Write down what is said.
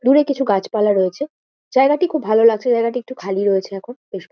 দূরে কিছু গাছপালা রয়েছে। জায়গাটি খুব ভালো লাগছে। জায়গাটি একটু খালি রয়েছে এখন। বেশ--